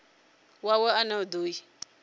wawe ane a do i